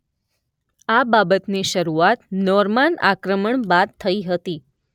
આ બાબતની શરૂઆત નોર્માન આક્રમણ બાદ થઇ હતી.